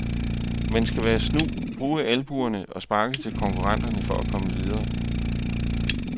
Man skal være snu, bruge albuerne og sparke til konkurrenterne for at komme videre.